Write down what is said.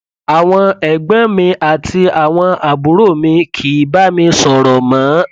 àwọn ẹgbọn mi àti àwọn àbúrò mi kìí bá mi sọrọ mọ